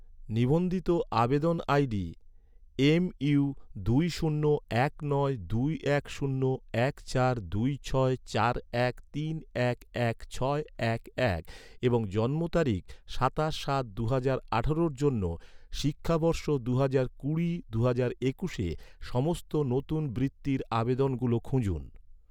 নিবন্ধিত আবেদন ID MU দুই শূন্য এক নয় দুই এক শূন্য এক চার দুই ছয় চার এক তিন এক এক ছয় এক এক দুই সাত এবং জন্ম তারিখ সাতাশ সাত দুহাজর আঠারোর জন্য, শিক্ষাবর্ষ দুহাজার কুড়ি দুহাজার একুশে সমস্ত নতুন বৃত্তির আবেদনগুলো খুঁজুন